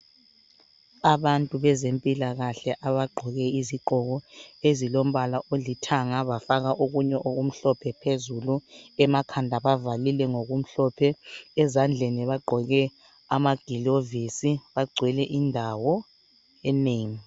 Abantu bezempilakahle abagqoke izigqoko ezilombala olithanga bafaka okunye okumhlophe phezulu, emakhanda bavalile ngokumhlophe. Ezandleni bagqoke amagilovisi bagcwele indawo enengi.